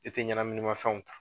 I tɛ ɲɛnaminima fɛnw ta.